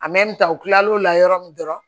ta u kilal'o la yɔrɔ min dɔrɔn